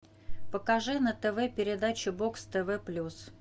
покажи на тв передачу бокс тв плюс